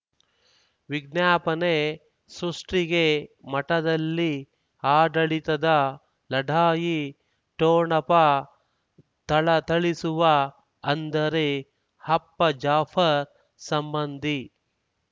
ವಿಜ್ಞಾಪನೆ ಸೃಷ್ಟಿಗೆ ಮಠದಲ್ಲಿ ಆಡಳಿತದ ಲಢಾಯಿ ಠೊಣಪ ಥಳಥಳಿಸುವ ಅಂದರೆ ಅಪ್ಪ ಜಾಫರ್ ಸಂಬಂಧಿ